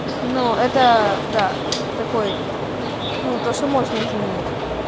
ну это да такой ну то что можно изменить